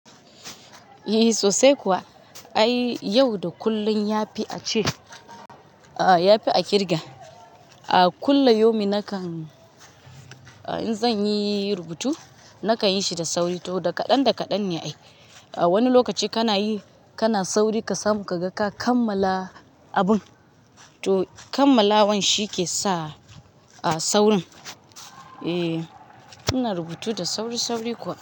Eh sosai kuwa. Ai yau da kullun yafi a ce, yafi a ƙirga. A kullu yaumi nakan, in zan yi rubutu nakan yi shi da sauri, to da kaɗan da kaɗan ne ai. Wani lokaci kana yi, kana sauri ka samu ka ga ka kammala abun. To kammalawan shi ke sa saurin. Eh, ina rubutu da sauri sauri kuwa.